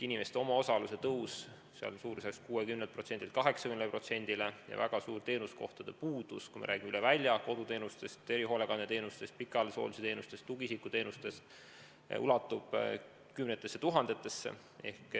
Inimeste omaosalus on tõusnud 60%-lt 80%-le ja on väga suur teenuskohtade puudus, kui me räägime koduteenustest, erihoolekandeteenustest, pikaajalise hoolduse teenustest, tugiisikuteenustest, see puudus ulatub kümnetesse tuhandetesse.